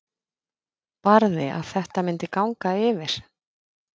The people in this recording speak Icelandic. Barði að þetta myndi ganga yfir.